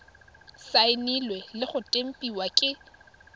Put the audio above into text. saenilwe le go tempiwa ke